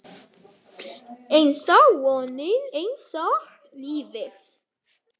Einsog vonin, einsog lífið